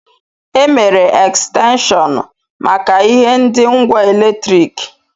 E mere Ekstenshọnu maka ihe ndi ngwa eletriki.